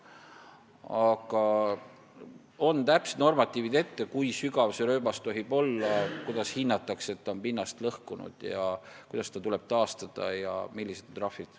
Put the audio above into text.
Aga on ette nähtud täpsed normatiivid, kui sügav see rööbas tohib olla, kuidas hinnatakse, et on pinnast lõhutud, kuidas tuleb pinnas taastada ja millised on trahvid.